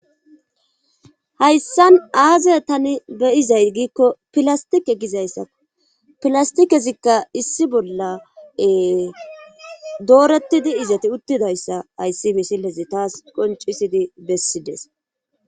Hayssan aaze tani be7izay giikko [ilasttike gizayssako pilasttikezikka issi bolla doorettidi izeti uttidayssa hayssi misilezi taas qonccisidi bessides.